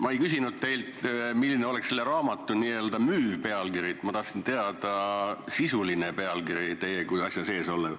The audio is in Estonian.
Ma ei küsinud teilt, milline oleks selle raamatu n-ö müüv pealkiri, ma tahtsin teada sisulist pealkirja – te ju olete asja sees.